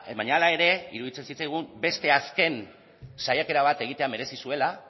baina hala ere iruditzen zitzaigun beste azken saiakera bat egitea merezi zuela